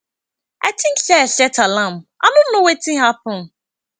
i think say i set alarm i no know wetin happen